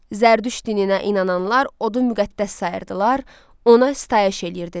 Zərdüş dininə inananlar odu müqəddəs sayırdılar, ona sitayiş eləyirdilər.